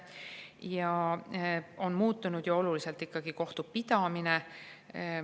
Ja kohtupidamine on ju ikkagi oluliselt muutunud.